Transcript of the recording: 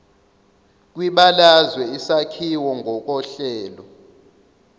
kwibalazwe isakhiwo ngokohlelo